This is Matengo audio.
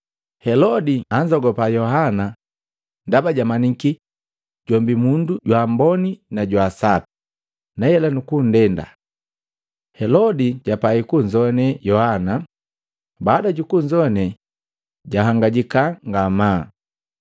Helode anzogapa Yohana ndaba jamanyiki jombi mundu jwa amboni na jwa sapi, na hela nukundenda. Helodi japai kunzoane Yohana, baada jukunzoane, jahangajiki ngamaa.